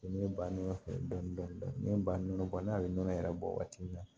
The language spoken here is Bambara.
Ne ba ne fɛ dɔɔnin dɔɔnin ne ba nɔnɔ bɔ n'ale ye nɔnɔ yɛrɛ bɔ waati min na